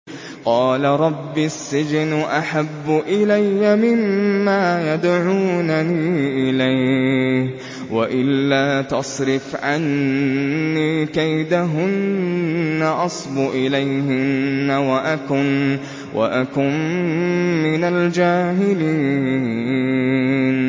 قَالَ رَبِّ السِّجْنُ أَحَبُّ إِلَيَّ مِمَّا يَدْعُونَنِي إِلَيْهِ ۖ وَإِلَّا تَصْرِفْ عَنِّي كَيْدَهُنَّ أَصْبُ إِلَيْهِنَّ وَأَكُن مِّنَ الْجَاهِلِينَ